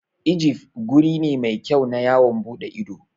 Ijif guri ne mai kyau na yawon ɓuɗe ido.